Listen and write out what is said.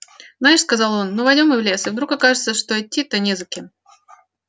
знаешь сказал он ну войдём мы в лес и вдруг окажется что идти-то не за кем